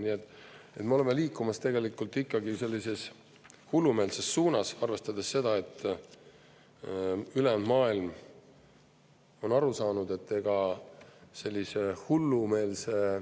Nii et me oleme liikumas tegelikult ikkagi sellises hullumeelses suunas, arvestades seda, et ülejäänud maailm on aru saanud, et ega sellise hullumeelsete,